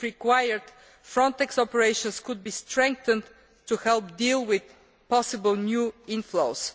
If required, Frontex operations could be strengthened to help deal with possible new inflows.